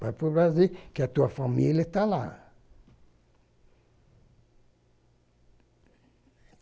Vai para o Brasil, que a tua família está lá.